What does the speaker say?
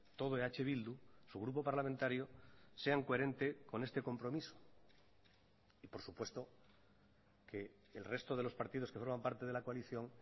todo eh bildu su grupo parlamentario sean coherente con este compromiso y por supuesto que el resto de los partidos que forman parte de la coalición